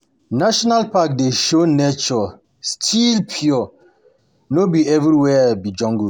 National parks dey show say nature still pure, no no be everywhere be jungle.